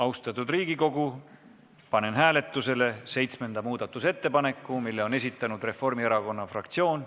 Austatud Riigikogu, panen hääletusele seitsmenda muudatusettepaneku, mille on esitanud Reformierakonna fraktsioon.